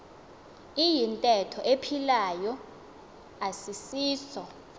iyintetho ephilayo asisiso